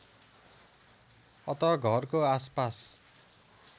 अत घरको आसपास